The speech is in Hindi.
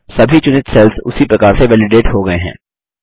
सभी चुनित सेल्स उसी प्रकार से वैलिडेट हो गये हैं